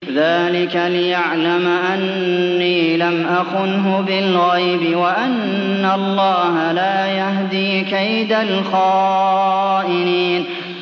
ذَٰلِكَ لِيَعْلَمَ أَنِّي لَمْ أَخُنْهُ بِالْغَيْبِ وَأَنَّ اللَّهَ لَا يَهْدِي كَيْدَ الْخَائِنِينَ